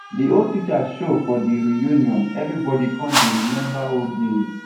de old teacher show for the reunion everybody come dey remember old days